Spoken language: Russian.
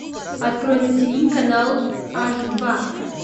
открой на тиви канал аш два